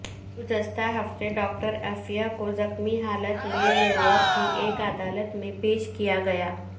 گزشتہ ہفتے ڈاکٹر عافیہ کو زخمی حالت میں نیویارک کی ایک عدالت میں پیش کیاگیا